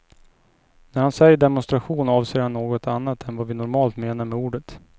När han säger demonstration avser han något annat än vad vi normalt menar med ordet.